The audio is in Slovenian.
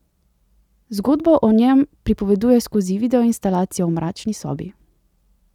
Zgodbo o njem pripoveduje skozi videoinstalacijo v mračni sobi.